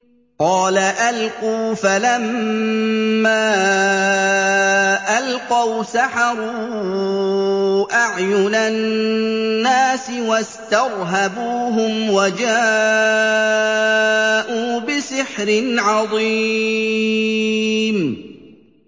قَالَ أَلْقُوا ۖ فَلَمَّا أَلْقَوْا سَحَرُوا أَعْيُنَ النَّاسِ وَاسْتَرْهَبُوهُمْ وَجَاءُوا بِسِحْرٍ عَظِيمٍ